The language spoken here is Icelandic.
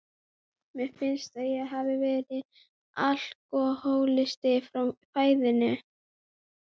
Mér finnst að ég hafi verið alkohólisti frá fæðingu.